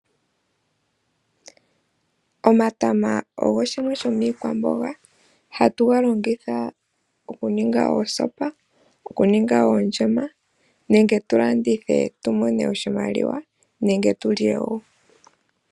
Omatama ogo shimwe shomii kwamboga hatu ga longitha oku ninga oosopa, oku ninga oonjema nenge tulandithe tumone oshimaliwa nenge tulye.